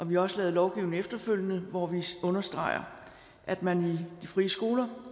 vi har også lavet lovgivning efterfølgende hvori vi understreger at man i de frie skoler